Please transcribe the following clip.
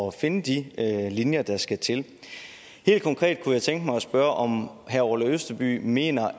at finde de linjer der skal til helt konkret kunne jeg tænke mig at spørge om herre orla østerby ikke mener